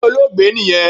Ilé Olóògbé niyẹn